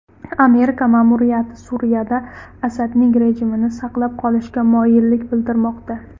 Amerika ma’muriyati Suriyada Asadning rejimini saqlab qolishga moyillik bildirmoqda.